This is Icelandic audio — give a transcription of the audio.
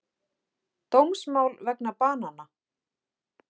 Dómsmál vegna banana